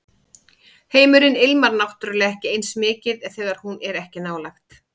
Heimurinn ilmar náttúrlega ekki eins mikið þegar hún er ekki nálægt